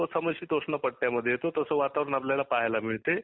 तो समशितोष्ण पट्ट्यामध्ये येतो तस वातावरण आपल्याला पाहायला मिळते